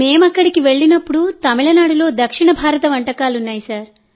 మేము అక్కడికి వెళ్లినప్పుడు తమిళనాడులో దక్షిణ భారత వంటకాలు ఉన్నాయి